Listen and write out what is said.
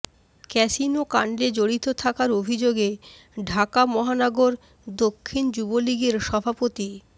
ক্যাসিনোকাণ্ডে জড়িত থাকার অভিযোগে ঢাকা মহানগর দক্ষিণ যুবলীগের সভাপতি